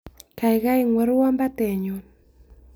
Gaigai ing'worwon batenyun